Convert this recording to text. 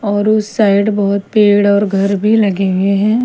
और उस साइड बहुत पेड़ और घर भी लगे हुए हैं।